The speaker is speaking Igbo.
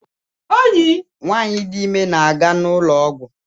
Nwanyị dị ime na-aga n'ụlọọgwọ